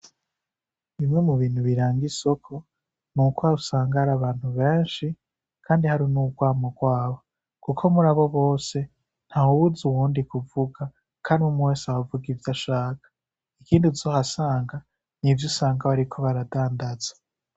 Bimwe mu bintu biranga isoko nuko usanga hari abantu benshi kandi hari n'urwamo rwabo kuko muri abo bose, ntawubuza n'uwundi kuvuga kandi umwe wese aba avuga ivyo ashaka. Ikindi uzohasanga ni ivyo usanga bariko baradandaza.